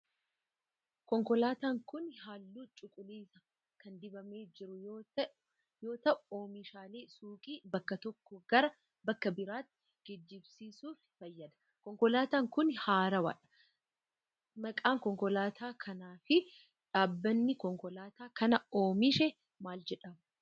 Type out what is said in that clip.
Konkolaataan kun, haalluu cuquliisa kan dibamee jru yoo ta'u, oomishaalee suuqii bakka tokkoo gara bakka biraatti geejibsiisuuf fayyada. Konkolaataan kun haarawa dha. Maqaan konkolaataa kanaa fi dhaabbanni konkolaataa kana oomishe maal jedhamu?